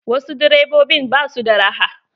Wasu direbobin ba su da raha.